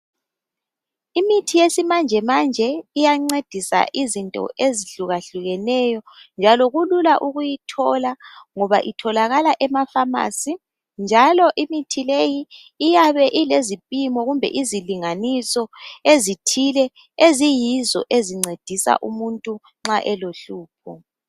Imithi yesimanje manje iyancedisa izinto ezihluka hlukeneyo njalo kulula ukuyithola ngoba itholakala emafamasi njalo imithi leyi iyabe ilezipimo kumbe izilinganiso ezithile eziyizo ezincedisa umuntu nxa elohlupho.